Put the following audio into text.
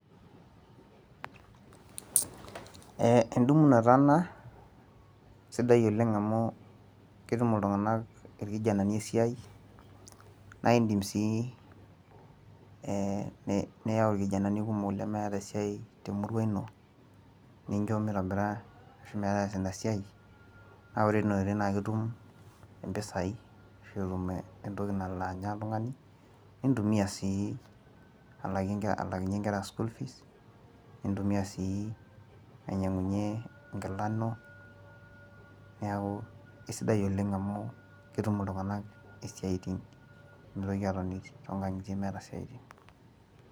edumunoto ena sidai oleng au ketum iltunganak irkijanani esiai, naa idim sii niyau irkijanani lemeeta esiai temurua ino. nincho mitobira ashu metaasa ina siai. naa ore tena oitoi na ketum impisai ashu entoki nalo anya oltungani, nintumia sii alaakinye nkera school fees nintumia sii ainyiangunye enkila ino, neeku kisidai aoleng amu ketum iltunganak isiaitin, mitoki atoni too nkang'itie meeta isiatin.